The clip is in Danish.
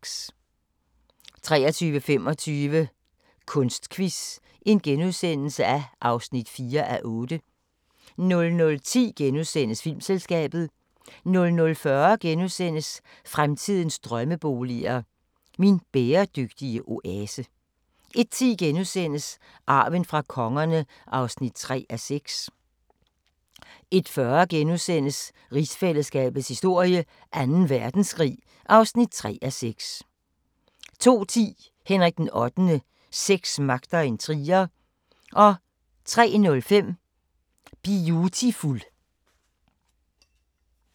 23:25: Kunstquiz (4:8)* 00:10: Filmselskabet * 00:40: Fremtidens drømmeboliger: Min bæredygtige oase (2:4)* 01:10: Arven fra kongerne (3:6)* 01:40: Rigsfællesskabets historie: Anden Verdenskrig (3:6)* 02:10: Henrik VIII: Sex, magt og intriger 03:05: Biutiful